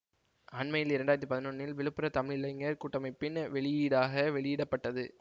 அண்மையில் இரண்டு ஆயிரத்தி பதினொன்றில் விழுப்புர தமிழிளைஞர் கூட்டமைப்பின் வெளியீடாக வெளியிட பட்டது